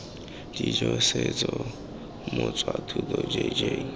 dijo setso boswa thuto jj